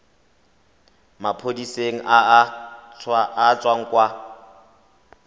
maphodiseng a a tswang kwa